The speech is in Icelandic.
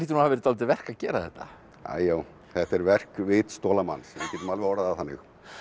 hafa verið dálítið verk að gera þetta æ já þetta er verk vitstola manns við getum alveg orðað það þannig